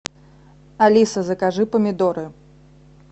алиса закажи помидоры